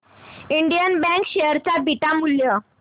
Indian bank share चे beta मूल्य